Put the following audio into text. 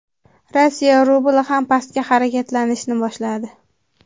Rossiya rubli ham pastga harakatlanishni boshladi.